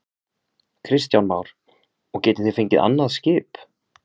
Kristján Már: Og getið þið fengið annað skip?